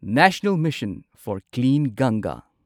national mission for clean ꯒꯪꯒꯥ